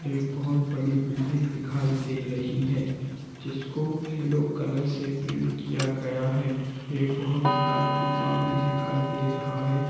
एक बहुत बिल्डिग दिखाई दे रही है जिसको येलो कलर से पैंट किय गया है एक बहुत बड़ा खभा भी दिखाई दे रहा है।